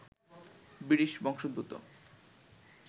British বংশোদ্ভূত